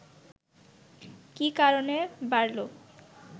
কি কারণে বাড়ল